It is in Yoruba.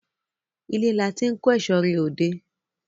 Ile lati n ko ẹso re ode